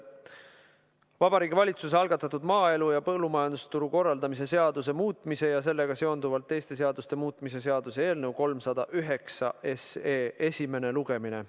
Vabariigi Valitsuse algatatud maaelu ja põllumajandusturu korraldamise seaduse muutmise ja sellega seonduvalt teiste seaduste muutmise seaduse eelnõu 309 esimene lugemine.